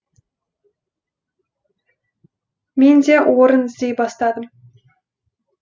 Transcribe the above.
мен де орын іздей бастадым